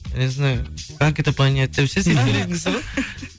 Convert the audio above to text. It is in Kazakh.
незнаю как это понять деп ше сөйтіп сөйлейтін кісі ғой